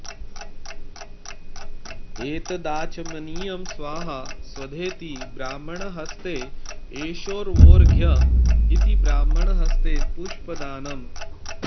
एतदाचमनीयं स्वाहा स्वधेति ब्राह्मणहस्ते एषवोऽर्घ्य इति ब्राह्मणहस्ते पुष्पदानम्